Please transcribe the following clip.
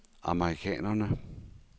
amerikanerne